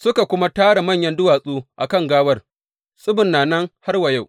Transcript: Suka kuma tara manyan duwatsu a kan gawar, tsibin na nan har wa yau.